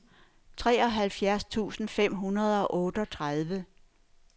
treoghalvfjerds tusind fem hundrede og otteogtredive